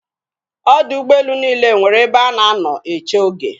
Ọdọ ụgbọelu niile nwere ebe a na-anọ eche oge.